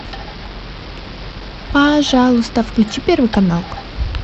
пожалуйста включи первый канал